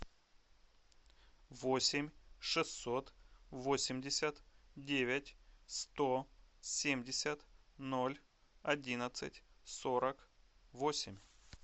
восемь шестьсот восемьдесят девять сто семьдесят ноль одиннадцать сорок восемь